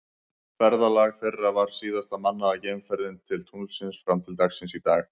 Ferðalag þeirra var síðasta mannaða geimferðin til tunglsins fram til dagsins í dag.